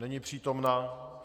Není přítomna.